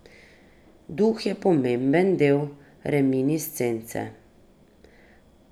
Duh je pomemben del reminiscence.